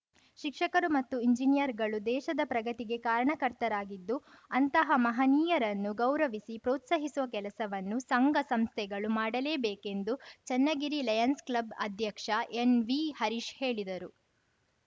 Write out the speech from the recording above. ಶಿಕ್ಷಕರು ಮತ್ತು ಎಂಜಿನಿಯರ್‌ಗಳು ದೇಶದ ಪ್ರಗತಿಗೆ ಕಾರಣಕರ್ತರಾಗಿದ್ದು ಅಂತಹ ಮಹಾನೀಯರನ್ನು ಗೌರವಿಸಿ ಪ್ರೋತ್ಸಾಹಿಸುವ ಕೆಲಸವನ್ನು ಸಂಘಸಂಸ್ಥೆಗಳು ಮಾಡಲೇಬೇಕೆಂದು ಚೆನ್ನಗಿರಿ ಲಯನ್ಸ್‌ ಕ್ಲಬ್‌ ಅಧ್ಯಕ್ಷ ಎನ್‌ವಿಹರೀಶ್‌ ಹೇಳಿದರು